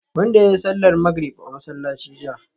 wanda yayi sallar magrib a masallaci jiya